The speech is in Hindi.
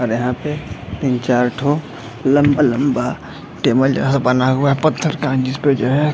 और यहाँ पे तीन चार ठो लम्बा-लम्बा टेबल जैसा बना हुआ है पत्थर का जिसपे जो है --